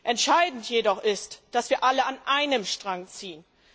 Entscheidend jedoch ist, dass wir alle an einem Strang ziehen.